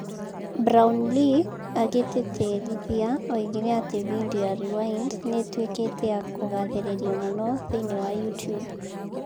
Brownlee agĩtĩtĩrithia oigire ati bindiũ ya Rewind nĩ ĩtuĩkĩte ya kũgathĩrĩrio mũno thĩinĩ wa Youtube